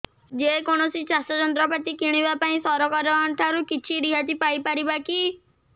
ଯେ କୌଣସି ଚାଷ ଯନ୍ତ୍ରପାତି କିଣିବା ପାଇଁ ସରକାରଙ୍କ ଠାରୁ କିଛି ରିହାତି ପାଇ ପାରିବା କି